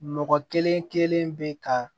Mɔgɔ kelen kelen bɛ ka